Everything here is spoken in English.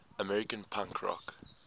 american punk rock